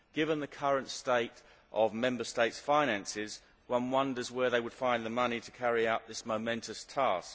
Given the current state of Member States' finances, one wonders where they would find the money to carry out this momentous task.